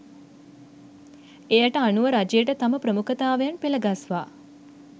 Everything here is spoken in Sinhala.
එයට අනුව රජයට තම ප්‍රමුඛතාවයන් පෙළගස්වා